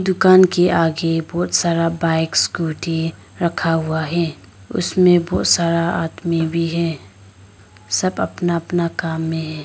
दुकान के आगे बहुत सारा बाइक स्कूटी रखा हुआ है उसमें बहुत सारा आदमी भी है सब अपना अपना काम में हैं।